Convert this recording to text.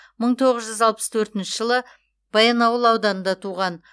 мың тоғыз жүз алпыс төртінші жылы баянауыл ауданында туған